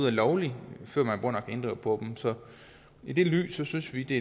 er lovlige før man går ind og inddriver på dem så i det lys synes vi det